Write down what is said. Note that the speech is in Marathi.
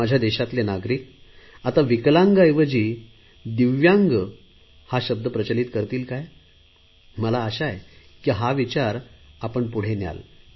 माझ्या देशातले नागरिक आता विकलांग ऐवजी दिव्यांग हा शब्द प्रचलित करतील काय मला आशा आहे की हा विचार आपण पुढे न्याल